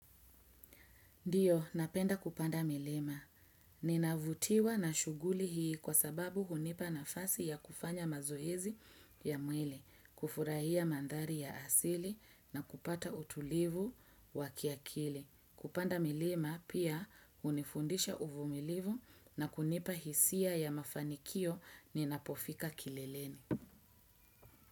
Ndiyo, napenda kupanda milima. Ninavutiwa na shughuli hii kwa sababu hunipa nafasi ya kufanya mazoezi ya mwili, kufurahia mandhari ya asili na kupata utulivu wakiakili. Kupanda milima pia hunifundisha uvumilivu na kunipa hisia ya mafanikio ninapofika kileleni.